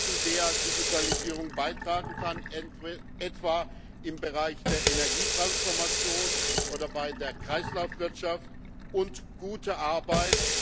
zu der Digitalisierung beitragen kann, etwa im Bereich der Energietransformation oder bei der Kreislaufwirtschaft und gute Arbeit.